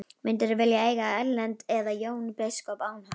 Myndirðu vilja eiga við Erlend eða Jón biskup án hans?